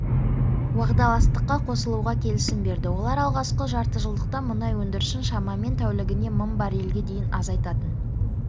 уағдаластыққа қосылуға келісім берді олар алғашқы жартыжылдықта мұнай өндірісін шамамен тәулігіне мың баррельге дейін азайтатын